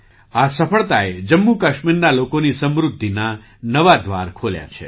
આ સફળતાએ જમ્મુ કાશ્મીરના લોકોની સમૃદ્ધિનાં નવાં દ્વાર ખોલ્યાં છે